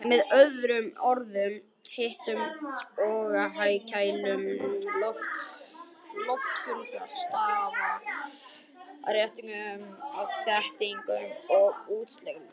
Með öðrum orðum, hitun og kæling lofttegunda stafar af þéttingu og útþenslu þeirra.